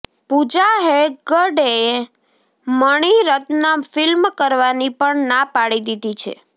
પૂજા હેગ્ડેએ મણિરત્ન ફિલ્મ કરવાની પણ ના પાડી દીધી છે